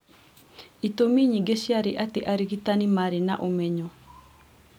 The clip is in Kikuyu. Itũmi nyingĩ cĩarĩ atĩ arigitani maarĩ na ũmenyo